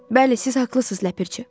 Bəli, siz haqlısınız Ləpirçi.